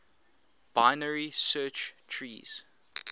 binary search trees